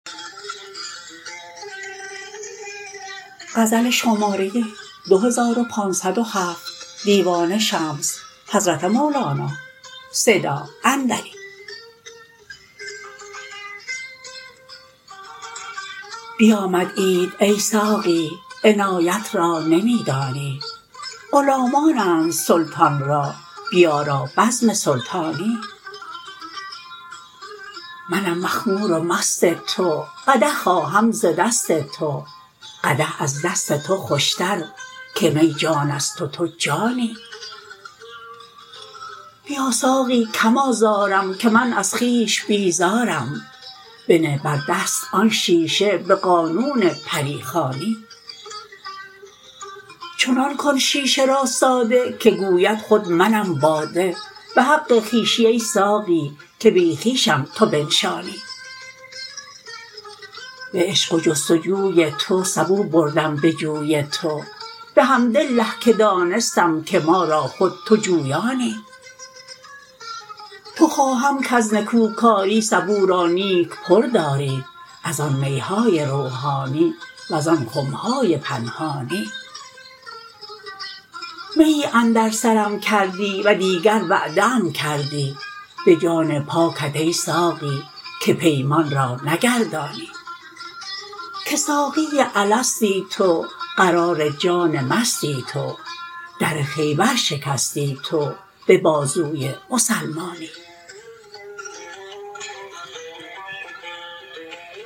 بیامد عید ای ساقی عنایت را نمی دانی غلامانند سلطان را بیارا بزم سلطانی منم مخمور و مست تو قدح خواهم ز دست تو قدح از دست تو خوشتر که می جان است و تو جانی بیا ساقی کم آزارم که من از خویش بیزارم بنه بر دست آن شیشه به قانون پری خوانی چنان کن شیشه را ساده که گوید خود منم باده به حق خویشی ای ساقی که بی خویشم تو بنشانی به عشق و جست و جوی تو سبو بردم به جوی تو بحمدالله که دانستم که ما را خود تو جویانی تو خواهم کز نکوکاری سبو را نیک پر داری از آن می های روحانی وزان خم های پنهانی میی اندر سرم کردی و دیگر وعده ام کردی به جان پاکت ای ساقی که پیمان را نگردانی که ساقی الستی تو قرار جان مستی تو در خیبر شکستی تو به بازوی مسلمانی